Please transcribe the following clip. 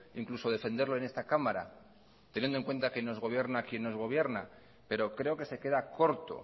incluso defenderlo en esta cámara teniendo en cuenta que nos gobierna quien nos gobierna pero creo que se queda corto